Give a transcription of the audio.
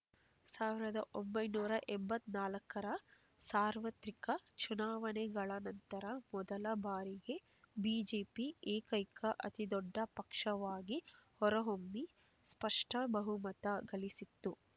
ಸಾವಿರದ ಒಂಬೈನೂರ ಎಂಬತ್ತ್ ನಾಲ್ಕರ ಸಾರ್ವತ್ರಿಕ ಚುನಾವಣೆಗಳ ನಂತರ ಮೊದಲ ಬಾರಿಗೆ ಬಿಜೆಪಿ ಏಕೈಕ ಅತಿದೊಡ್ಡ ಪಕ್ಷವಾಗಿ ಹೊರಹೊಮ್ಮಿ ಸ್ಪಷ್ಟ ಬಹುಮತ ಗಳಿಸಿತ್ತು